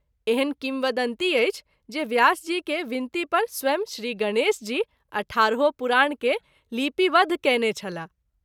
एहन किंवदंती अछि जे व्यास जी के विनती पर स्वयं श्री गणेश जी अठारहो पुराण के लिपिबद्ध कएने छलाह।